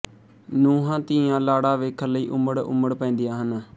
ਨੂੰਹਾਂ ਧੀਆਂ ਲਾੜਾ ਵੇਖਣ ਲਈ ਉਮੜ ਉਮੜ ਪੈਂਦੀਆਂ ਹਨ